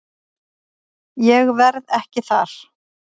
Ég verð ekki þar.